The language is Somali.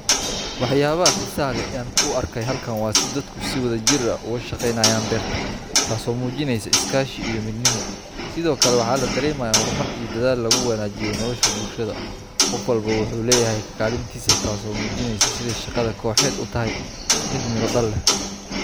Waxyaabaha xiisaha leh ee aan ku arkayo halkan waa sida dadku si wadajir ah uga shaqeynayaan beerta, taasoo muujinaysa iskaashi iyo midnimo. Sidoo kale, waxaa la dareemayaa horumar iyo dadaal lagu wanaajinayo nolosha bulshada. Qof walba wuxuu leeyahay kaalintiisa, taasoo muujinaysa sida shaqada kooxeed u tahay mid miro dhal leh.